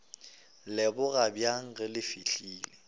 leboga bjang ge le fihlile